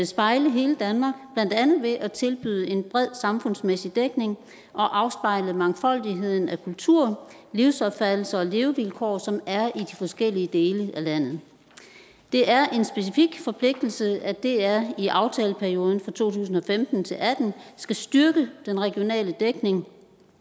spejle hele danmark blandt andet ved at tilbyde en bred samfundsmæssig dækning og afspejle mangfoldigheden af kulturer livsopfattelser og levevilkår som er i de forskellige dele af landet det er en specifik forpligtelse at dr i aftaleperioden for to tusind og femten til atten skal styrke den regionale dækning